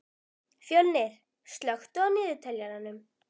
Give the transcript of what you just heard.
Fjölnir, slökktu á niðurteljaranum.